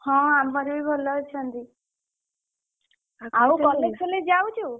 ହଁ ଆମର ବି ଭଲ ଅଛନ୍ତି। ଆଉ college ଫଲେଜ ଯାଉଛୁ?